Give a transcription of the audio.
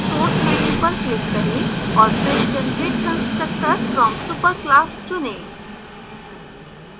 source menu पर click करें और फिर generate constructors from superclass चुनें